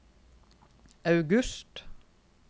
august